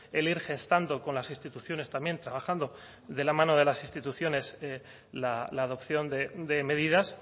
el ir gestando con las instituciones también trabajando de la mano de las instituciones la adopción de medidas